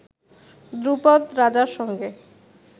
দ্রুপদ রাজার সঙ্গে